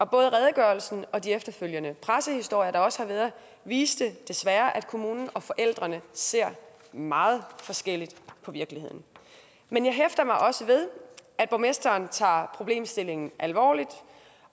både redegørelsen og de efterfølgende pressehistorier der også har været viste desværre at kommunen og forældrene ser meget forskelligt på virkeligheden men jeg hæfter mig også ved at borgmesteren tager problemstillingen alvorligt